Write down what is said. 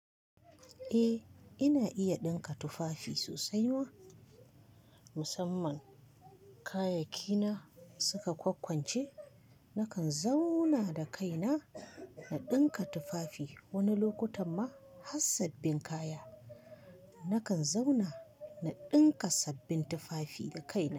Eh, ina iya ɗinka tufafi sosai ma. Musamman kayayyaki na suka kwakkwance. Nakan zauna da kaina na ɗinka tufafi wani lokutan ma har sabbin kaya. Nakan zauna na ɗinka sabbin tufafi da kaina.